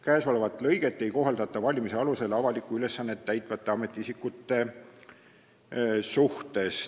Käesolevat lõiget ei kohaldata valimise alusel avalikku ülesannet täitvate ametiisikute suhtes.